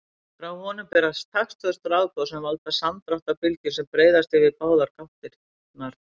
Frá honum berast taktföst rafboð sem valda samdráttarbylgjum sem breiðast yfir báðar gáttirnar.